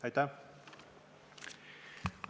Aitäh!